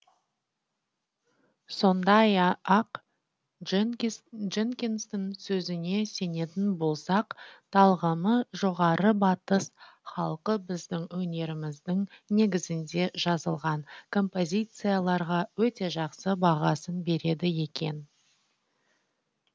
сондай ақ дженкинстің сөзіне сенетін болсақ талғамы жоғары батыс халқы біздің өнеріміздің негізінде жазылған композицияларға өте жақсы бағасын береді екен